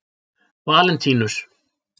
Valentínus